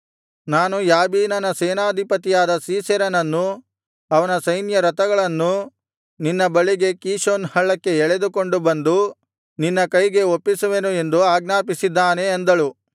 ನಾನು ಯಾಬೀನನ ಸೇನಾಧಿಪತಿಯಾದ ಸೀಸೆರನನ್ನೂ ಅವನ ಸೈನ್ಯರಥಗಳನ್ನೂ ನಿನ್ನ ಬಳಿಗೆ ಕೀಷೋನ್ ಹಳ್ಳಕ್ಕೆ ಎಳೆದುಕೊಂಡು ಬಂದು ನಿನ್ನ ಕೈಗೆ ಒಪ್ಪಿಸುವೆನು ಎಂದು ಆಜ್ಞಾಪಿಸಿದ್ದಾನೆ ಅಂದಳು